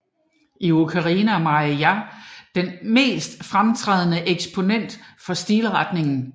I Ukraine er Marija Prymatjenko den mest fremtrædende eksponent for stilretningen